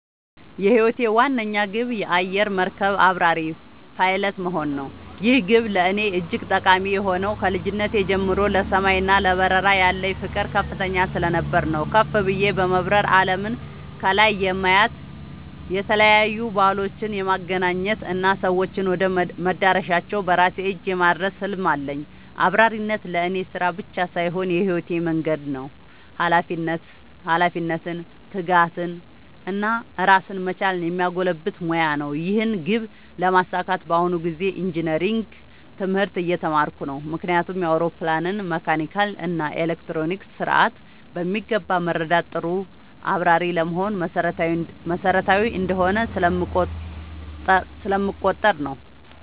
የህይወቴ ዋነኛ ግብ የአየር መርከብ አብራሪ (Pilot) መሆን ነው። ይህ ግብ ለእኔ እጅግ ጠቃሚ የሆነው ከልጅነቴ ጀምሮ ለሰማይ እና ለበረራ ያለኝ ፍቅር ከፍተኛ ስለነበር ነው። ከፍ ብዬ በመብረር አለምን ከላይ የማየት፣ የተለያዩ ባህሎችን የማገናኘት እና ሰዎችን ወደ መዳረሻቸው በራሴ እጅ የማድረስ ህልም አለኝ። አብራሪነት ለእኔ ስራ ብቻ ሳይሆን የህይወት መንገዴ ነው - ኃላፊነትን፣ ትጋትን እና ራስን መቻልን የሚያጎለብት ሙያ ነው። ይህን ግብ ለማሳካት በአሁኑ ጊዜ ኢንጂነሪንግ (Engineering) ትምህርት እየተማርኩ ነው። ምክንያቱም የአውሮፕላንን መካኒካል እና ኤሌክትሮኒክስ ስርዓት በሚገባ መረዳት ጥሩ አብራሪ ለመሆን መሰረታዊ እንደሆነ ስለምቆጠር ነው።